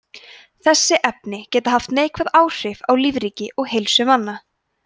þessi efni geta haft neikvæð áhrif á lífríki og heilsu manna